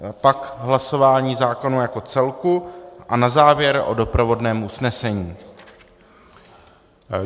Pak hlasování zákona jako celku a na závěr o doprovodném usnesení.